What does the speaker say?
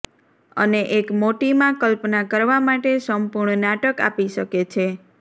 અને એક મોટી માં કલ્પના કરવા માટે સંપૂર્ણ નાટક આપી શકે છે